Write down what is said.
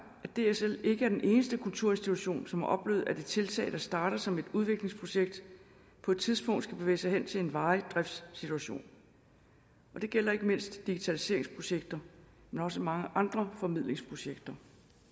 at dsl ikke er den eneste kulturinstitution som har oplevet at et tiltag der starter som et udviklingsprojekt på et tidspunkt skal bevæge sig hen til en varig driftssituation det gælder ikke mindst digitaliseringsprojekter men også mange andre formidlingsprojekter